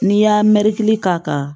N'i y'a mɛriki k'a kan